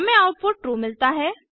हमें output true मिलता है